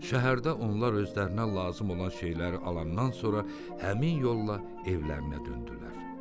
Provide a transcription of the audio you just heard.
Şəhərdə onlar özlərinə lazım olan şeyləri alandan sonra həmin yolla evlərinə döndülər.